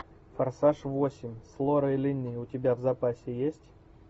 форсаж восемь с лорой линни у тебя в запасе есть